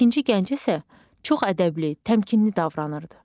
İkinci gənc isə çox ədəbli, təmkinli davranırdı.